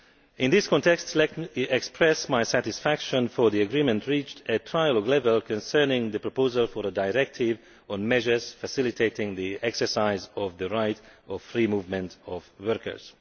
In this context, let me express my satisfaction for the agreement reached at trialogue level concerning the proposal for a directive on measures facilitating the exercise of the right of free movement of workers.